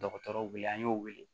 Dɔgɔtɔrɔw wele an y'u wele